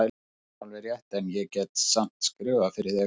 Það er alveg rétt, en ég get samt skrifað fyrir þig.